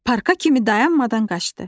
Parka kimi dayanmadan qaçdı.